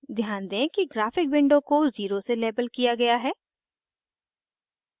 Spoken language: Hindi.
ध्यान दें कि ग्राफ़िक विंडो को 0 से लेबल किया गया है